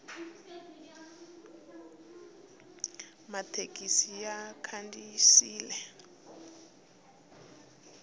mathekisi ya khandziyile